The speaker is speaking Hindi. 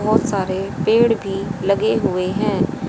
बहोत सारे पेड़ भी लगे हुए हैं।